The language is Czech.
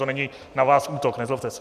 To není na vás útok, nezlobte se.